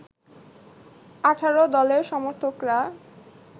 ১৮ দলের সমর্থকরা